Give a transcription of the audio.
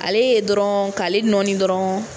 Ale ye dɔrɔn k'ale nɔɔni dɔrɔn.